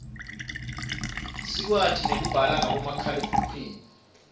sikwati nekubala ngabomakhalekhukhwini